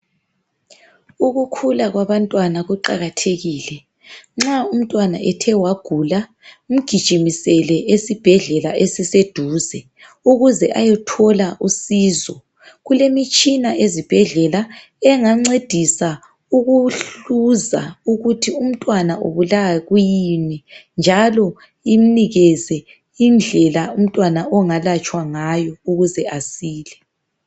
ukukhula kwabantwana kuqakathekile, nxa umntwana ethe wagula mgijimisele esibhedlela esiseduze ukuze ayethola usizo. Kulemitshina ezibhedlela engancedisa ukuhluza ukuthi umntwana ubulawa yikuyini njalo imnikeze indlela umntwana ongalatshwa ngayo ukuthi asile.